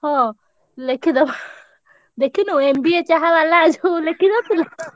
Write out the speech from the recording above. ହଁ ଲେଖିଦବା ଦେଖିନୁ MBA ଚାହାବାଲା ଯୋଉ ଲେଖିନଥିଲା?